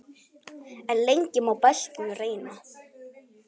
En lengi má beltin reyna.